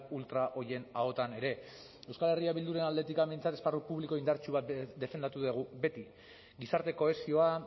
ultra horien ahotan ere euskal herria bilduren aldetik behintzat esparru publiko indartsu bat defendatu dugu beti gizarte kohesioa